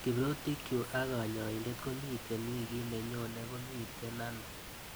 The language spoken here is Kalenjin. Kiprotikchu ak kanyaindet komiite wikit nenyoni komiite ano?